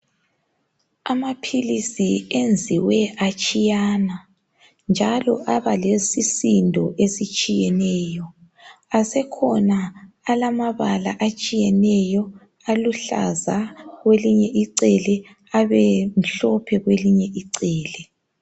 Amaphilisi enziwe atshiyana njalo abalesisindo esitshiyeneyo asekhona alamabala atshiyeneyo aluhlaza kwelinye icele abemhlophe kwelinye icele.